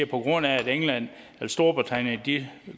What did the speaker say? på grund af at storbritannien